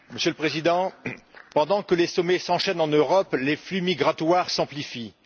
Monsieur le Président, pendant que les sommets s'enchaînent en Europe, les flux migratoires s'amplifient.